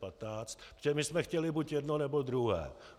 Protože my jsme chtěli buď jedno, nebo druhé.